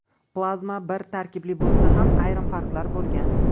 Plazma bir tarkibli bo‘lsa ham, ayrim farqlar bo‘lgan.